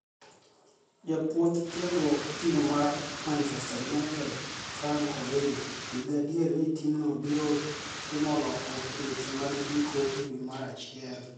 Jabuonij tiegruok tim mar Manichester Uniited Franik owino nii gadier nii timno biro timo lokruok e weche mag nidiko e dwe mar achiel.